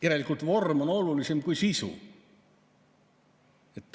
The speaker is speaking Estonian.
Järelikult vorm on olulisem kui sisu.